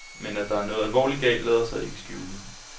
Men at der er noget alvorligt galt, lader sig ikke skjule.